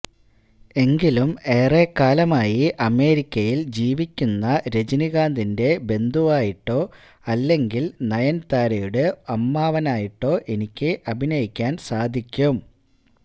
എങ്കിലും എറെക്കാലമായി അമേരിക്കയില് ജീവിക്കുന്ന രജനികാന്തിന്റെ ബന്ധുവായിട്ടോ അല്ലെങ്കില് നയന്താരയുടെ അമ്മാവനായിട്ടോ എനിക്ക് അഭിനയിക്കാന് സാധിക്കും